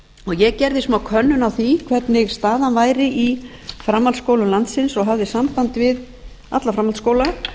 ég gerði smákönnun á því hvernig staðan væri í framhaldsskólum landsins og hafði samband við alla